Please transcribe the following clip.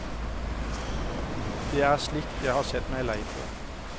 Det er slikt jeg har sett meg lei på.